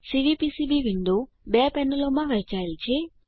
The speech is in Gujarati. સીવીપીસીબી વિન્ડો બે પેનલોમાં વહેંચાયેલ છે